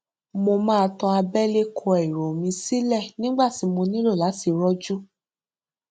mo máa tan àbẹlẹ kọ èrò mi sílẹ nígbà tí mo nílò láti rojú